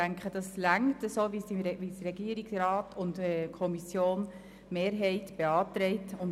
Unseres Erachtens ist der Antrag des Regierungsrats und der Kommissionsmehrheit ausreichend.